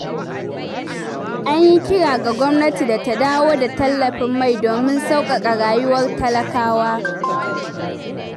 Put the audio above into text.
An yi kira ga gwamnati da ta dawo da tallafin mai domin sauƙaƙa rayuwar talakawa.